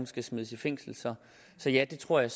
skal smides i fængsel så ja det tror jeg